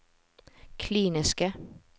kliniske